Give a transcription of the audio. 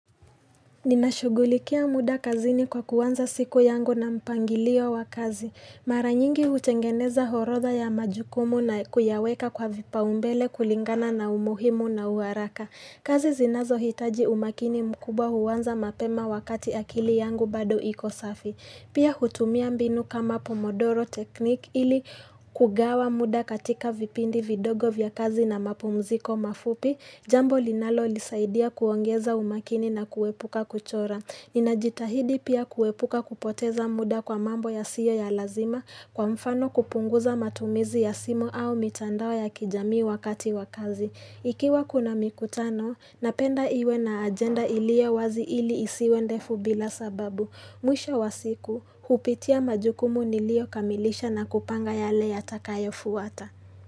Ninashugulikia muda kazini kwa kuanza siku yangu na mpangilio wa kazi. Mara nyingi hutengeneza orodha ya majukumu na kuyaweka kwa vipa umbele kulingana na umuhimu na uharaka. Kazi zinazo hitaji umakini mkubwa huanza mapema wakati akili yangu bado iko safi. Pia hutumia mbinu kama pomodoro technique ili kugawa muda katika vipindi vidogo vya kazi na mapumziko mafupi, jambo linalonisaidia kuongeza umakini na kuepuka kuchora. Nina jitahidi pia kuepuka kupoteza muda kwa mambo ya siyo ya lazima kwa mfano kupunguza matumizi ya simu au mitandao ya kijamii wakati wakazi. Ikiwa kuna mikutano, napenda iwe na agenda iliyo wazi ili isiwe ndefu bila sababu. Mwisho wasiku, hupitia majukumu niliyo kamilisha na kupanga yale ya takayo fuwata.